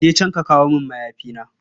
Ka je can ka kawo min mayafina.